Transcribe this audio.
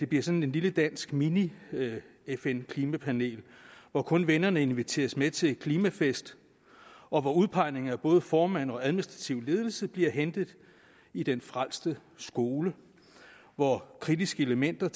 bliver sådan et lille dansk mini fn klimapanel hvor kun vennerne inviteres med til klimafest og hvor både formand og administrativ ledelse bliver hentet i den frelste skole hvor kritiske elementer